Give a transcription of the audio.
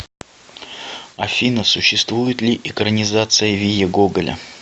афина существует ли экранизация вия гоголя